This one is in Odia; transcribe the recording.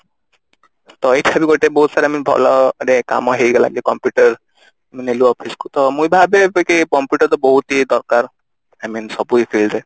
ତ ଏଇଥିରେ ବି ଗୋଟେ ବହୁତ ସାରା ଆମକୁ ଭଲ ରେ କାମ ହେଇଗଲା ଯୋଉ computer ନେଲୁ office କୁ ତ ମୁଁ ଭାବେ ଯେକି computer ତ ବହୁତ ଦରକାର I mean ସବୁ field ରେ